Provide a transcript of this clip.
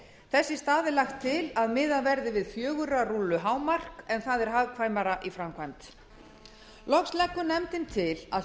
þess í stað er lagt til að miðað verði við fjögurra rúllu hámark en það er hagkvæmara í framkvæmd loks leggur nefndin til að